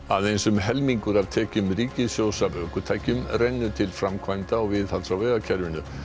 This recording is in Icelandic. aðeins um helmingur af tekjum ríkissjóðs af ökutækjum rennur til framkvæmda og viðhalds á vegakerfinu